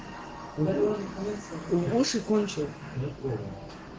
уши кончил